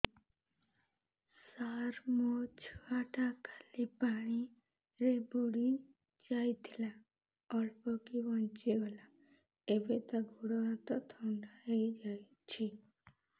ସାର ମୋ ଛୁଆ ଟା କାଲି ପାଣି ରେ ବୁଡି ଯାଇଥିଲା ଅଳ୍ପ କି ବଞ୍ଚି ଗଲା ଏବେ ତା ଗୋଡ଼ ହାତ ଥଣ୍ଡା ହେଇଯାଉଛି